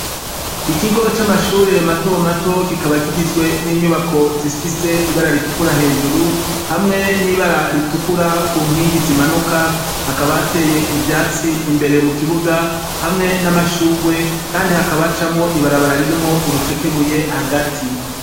Ikigo c'amashure matomato kikaba kigizwe n'inyubako zifise ibara ritukura hejuru hamwe n'ibara ritukura ku nkingi zimanuka hakabateye ivyatsi imbere mu kibuga hamwe n'amashurwe, kandi hakabacamwo ibarabara ririmwo urucekebuye hagati.